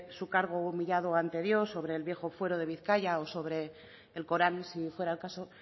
su cargo humillado ante dios sobre el viejo fuero de bizkaia o sobre el corán si fuera el caso